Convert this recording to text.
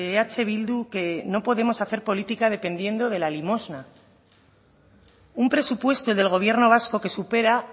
eh bildu que no podemos hacer política dependiendo de la limosna un presupuesto del gobierno vasco que supera